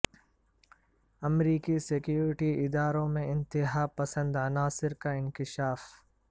امریکی سیکیورٹی اداروں میں انتہا پسند عناصر کا انکشاف